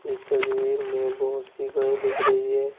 इस तस्वीर में बहुत सी गाय दिख रही है।